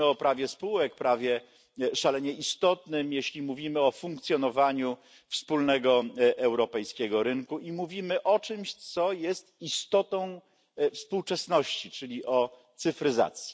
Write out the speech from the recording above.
Mówimy o prawie spółek, prawie szalenie istotnym, jeśli mówimy o funkcjonowaniu wspólnego europejskiego rynku i o czymś, co jest istotą współczesności, czyli o cyfryzacji.